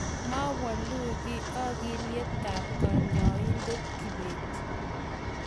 mawolu kiy okilietab kanyoindet kibet